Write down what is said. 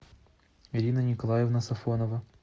ирина николаевна сафонова